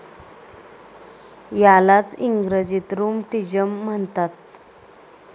यालाच इंग्रजीत रूमटिज़म म्हणतात.